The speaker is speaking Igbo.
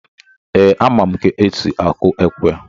Ee, ama m etu esi akụ ekwe.